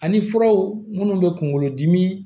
Ani furaw munnu bɛ kunkolo dimi